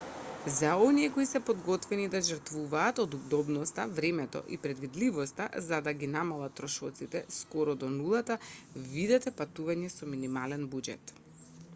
за оние кои се подготвени да жртвуваат од удобноста времето и предвидливоста за да ги намалат трошоците скоро до нулата видете патување со минимален буџет